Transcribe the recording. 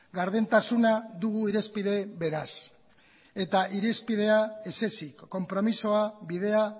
gardentasuna dugu irizpide beraz eta irizpidea ez ezik konpromisoa bidea